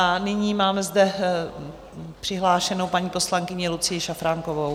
A nyní máme zde přihlášenou paní poslankyni Lucii Šafránkovou.